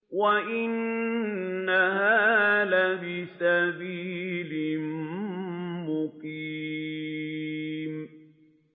وَإِنَّهَا لَبِسَبِيلٍ مُّقِيمٍ